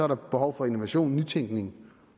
der behov for innovation nytænkning